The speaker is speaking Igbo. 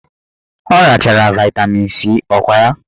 Ọ rachara vaịtamin C ọkwa ya?